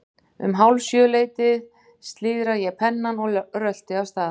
Um hálf sjö leytið slíðra ég pennann og rölti af stað.